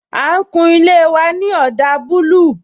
A ń kun ilé wa ní ọdà búlúù